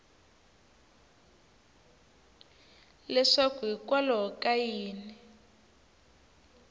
leswaku hikwalaho ka yini u